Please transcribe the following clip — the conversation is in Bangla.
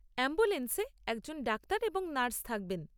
অ্যাম্বুলেন্সে একজন ডাক্তার এবং নার্স থাকবেন।